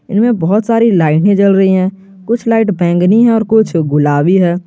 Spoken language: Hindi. इनमें बहोत सारी लाइटे जल रही है कुछ लाइट बैंगनी है और कुछ गुलाबी है।